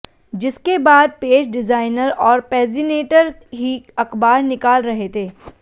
जिसके बाद page designer और पेजीनेटर ही अखबार निकाल रहे थे